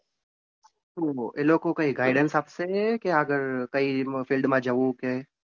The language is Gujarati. એ લોકો કઈ guidance આપશે કે આગળ કઈ field માં જવું કે